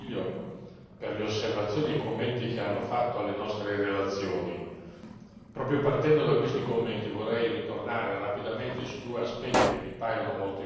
per le osservazioni e i commenti che hanno fatto alle nostre relazioni. Proprio partendo da questi commenti vorrei ritornare rapidamente su due aspetti che mi paiono molto importanti.